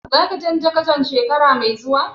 Za ka canza kacan shekara mai zuwa?